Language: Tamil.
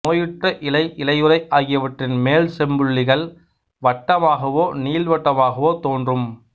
நோயுற்ற இலை இலையுறை ஆகியவற்றின் மேல் செம்புள்ளிகள் வட்டமாகவோ நீள்வட்டமாகவோ தோன்றும்